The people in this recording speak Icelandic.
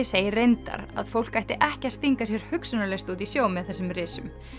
segir reyndar að fólk ætti ekki að stinga sér hugsunarlaust út í sjó með þessum risum